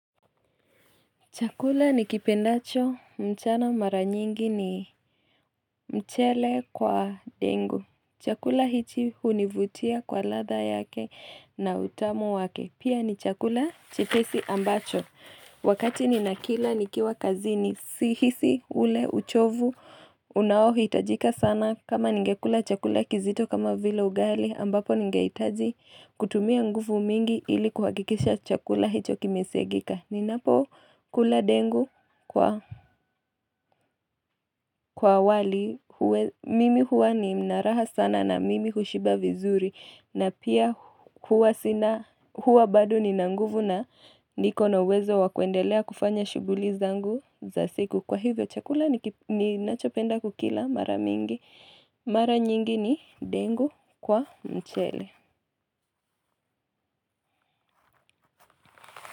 Chakula ni kipendacho, mchana mara nyingi ni mchele kwa ndengu. Chakula hichi hunivutia kwa latha yake na utamu wake. Pia ni chakula chepesi ambacho. Wakati ni na kila, nikiwa kazini si hisi ule uchovu. Unao hitajika sana kama ningekula chakula kizito kama vile ugali. Ambapo ningehitaji kutumia nguvu mingi ili kuhakikisha chakula hicho kimesiagika. Ninapo kula ndengu kwa kwa wali, mimi huwa ni naraha sana na mimi hushiba vizuri na pia huwa sina huwa bado ni na nguvu na niko na uwezo wakuendelea kufanya shuguli zangu za siku Kwa hivyo chakula ni nachopenda kukila mara mingi, mara nyingi ni ndengu kwa mchele.